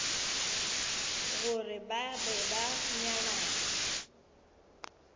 gore ba be ba nyalane